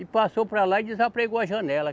E passou para lá e desapregou a janela.